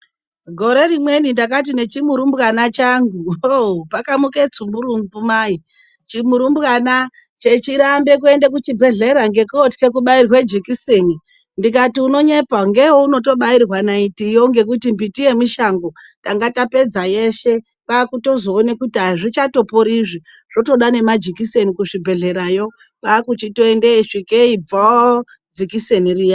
Gore rimweni ndakati nechimurumbwana changu hoo! Pakamuka tsumburumbu cheiramba kuenda kuchibhehlera ndikati unonyepa ndokweunotoenda kwakusvika kuchibhehlera ndiro jekiseniro mvoo ngekuti miti yemishango tanga tapedza yeshe yeshe zveiramba